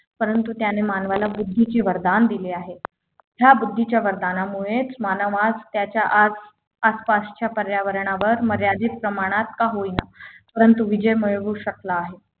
परंतु त्याने मानवाला बुद्धीचे वरदान दिले आहे या बुद्धीच्या वरदानामुळेच मानवास त्याच्या आज आसपासच्या पर्यावरणावर मर्यादित प्रमाणात का होईना परंतु विजय मिळवू शकला आहे